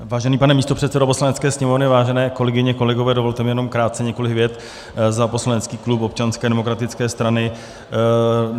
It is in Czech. Vážený pane místopředsedo Poslanecké sněmovny, vážené kolegyně, kolegové, dovolte mi jenom krátce několik vět za poslanecký klub Občanské demokratické strany.